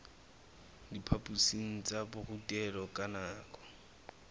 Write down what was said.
diphaphosing tsa borutelo ka nako